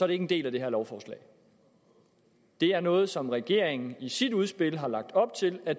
ikke en del af det her lovforslag det er noget som regeringen i sit udspil har lagt op til at